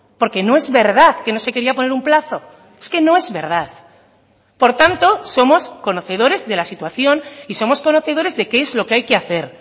porque no es verdad que no se quería poner un plazo es que no es verdad por tanto somos conocedores de la situación y somos conocedores de qué es lo que hay que hacer